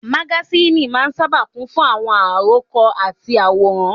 Magasíìnì máa n sáábà kún fún àwọn àròkọ àti àwòrán